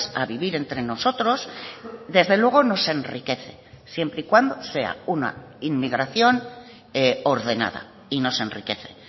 a vivir entre nosotros desde luego nos enriquece siempre y cuando sea una inmigración ordenada y nos enriquece